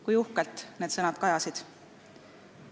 " Kui uhkelt need sõnad kajasid!